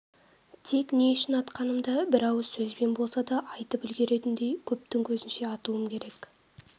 тек не үшін атқанымды бір ауыз сөзбен болса да айтып үлгеретіндей көптің көзінше атуым керек